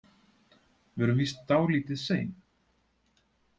Við erum víst dálítið sein.